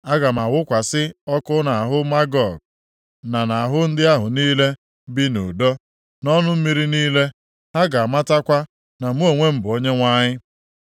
Aga m awụkwasị ọkụ nʼahụ Magog, na nʼahụ ndị ahụ niile bi nʼudo, nʼọnụ mmiri niile. Ha ga-amatakwa na mụ onwe m bụ Onyenwe anyị.